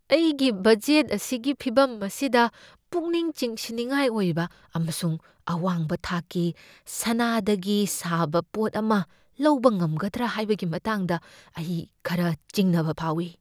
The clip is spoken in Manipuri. ꯑꯩꯒꯤ ꯕꯖꯦꯠ ꯑꯁꯤꯒꯤ ꯐꯤꯚꯝ ꯑꯁꯤꯗ, ꯄꯨꯛꯅꯤꯡ ꯆꯤꯡꯁꯤꯟꯅꯤꯡꯉꯥꯏ ꯑꯣꯏꯕ ꯑꯃꯁꯨꯡ ꯑꯋꯥꯡꯕ ꯊꯥꯛꯀꯤ ꯁꯅꯥꯗꯒꯤ ꯁꯥꯕ ꯄꯣꯠ ꯑꯃ ꯂꯧꯕ ꯉꯝꯒꯗ꯭ꯔꯥ ꯍꯥꯏꯕꯒꯤ ꯃꯇꯥꯡꯗ ꯑꯩ ꯈꯔ ꯆꯤꯡꯅꯕ ꯐꯥꯎꯏ꯫